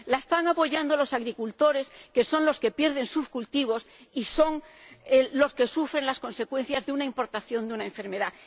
La están apoyando los agricultores, que son los que pierden sus cultivos y los que sufren las consecuencias de una importación de una enfermedad.